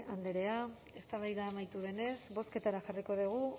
andrea eztabaida amaitu denez bozketara jarriko dugu